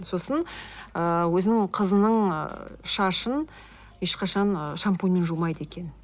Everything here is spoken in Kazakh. сосын ы өзінің қызының шашын ешқашан шампуньмен жумайды екен